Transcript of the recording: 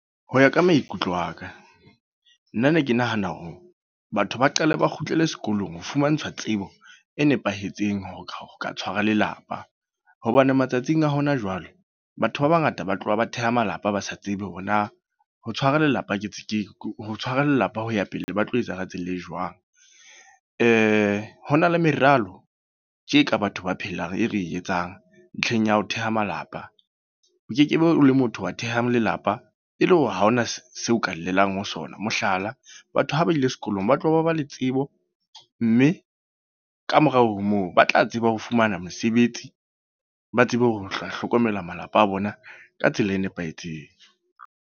Ho ya ka maikutlo a ka. Nna ne ke nahana hore, batho ba qale ba kgutlele sekolong ho fumantshwa tsebo e nepahetseng ho ka tshwara lelapa. Hobane matsatsing a hona jwale. Batho ba bangata ba tloha ba theha malapa ba sa tsebe hore na ho tshwara lelapa ke tse ke ho tshwara lelapa ho ya pele, ba tlo etsa ka tsela e jwang. Ho na le meralo, tje ka batho ba phelang e re etsang, ntlheng ya ho theha malapa. O kekebe o le motho wa theha lelapa e le hore ha ho na seo o ka llelang ho sona. Mohlala, batho ha ba ile sekolong, ba tloha ba ba le tsebo. Mme ka morao ho moo ba tla tseba ho fumana mesebetsi. Ba tsebe ho hlokomela malapa a bona ka tsela e nepahetseng.